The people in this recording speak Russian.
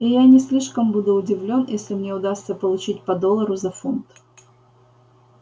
и я не слишком буду удивлён если мне удастся получить по доллару за фунт